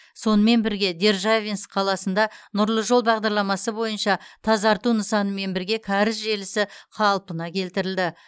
сонымен бірге державинск қаласында нұрлы жол бағдарламасы бойынша тазарту нысанымен бірге кәріз желісі қалпына келтірілді